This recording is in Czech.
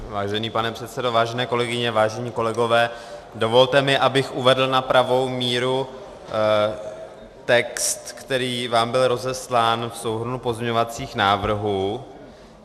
Vážený pane předsedo, vážené kolegyně, vážení kolegové, dovolte mi, abych uvedl na pravou míru text, který vám byl rozeslán v souhrnu pozměňovacích návrhů.